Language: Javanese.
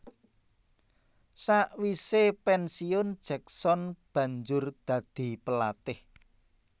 Sakwise pensiun Jackson banjur dadi pelatih